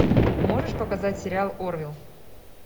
можешь показать сериал орвилл